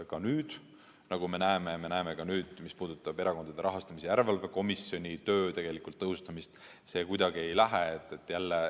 Ka nüüd, nagu me näeme, mis puudutab Erakondade Rahastamise Järelevalve Komisjoni töö tõhustamist, see kuidagi ei lähe.